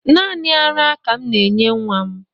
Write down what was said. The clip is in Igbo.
Naanị ara ka m na-enye nwa m